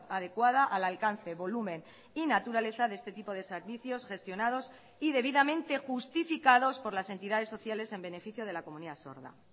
adecuada al alcance volumen y naturaleza de este tipo de servicios gestionados y debidamente justificados por las entidades sociales en beneficio de la comunidad sorda